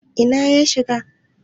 Ina ya shiga?